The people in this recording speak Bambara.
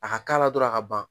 A ka k'a la dɔrɔn a ka ban